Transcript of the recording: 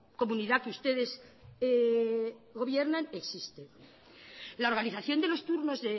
comunidad que ustedes gobiernan existe la organización de los turnos